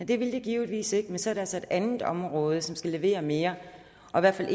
det ville det givetvis ikke men så er der så et andet område som skal levere mere